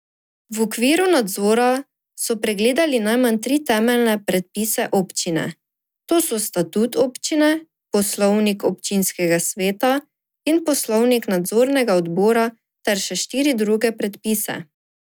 V okviru nadzora so pregledali najmanj tri temeljne predpise občine, to so statut občine, poslovnik občinskega sveta in poslovnik nadzornega odbora, ter še štiri druge predpise.